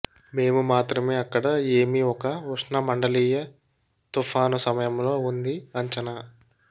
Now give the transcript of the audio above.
మేము మాత్రమే అక్కడ ఏమి ఒక ఉష్ణ మండలీయ తుఫాను సమయంలో ఉంది అంచనా